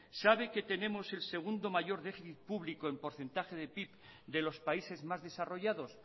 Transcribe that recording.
sabe que tenemos el segundo mayor déficit público en porcentaje de pib de los países más desarrollados